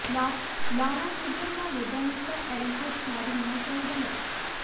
ਲਾਉਣਾ ਮੀਡੀਅਮ ਦਾ ਵੱਡਾ ਹਿੱਸਾ ਐਰੀਸੀਅਸ ਖਾਦ ਹੋਣਾ ਚਾਹੀਦਾ ਹੈ